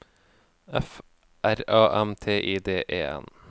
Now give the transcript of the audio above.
F R A M T I D E N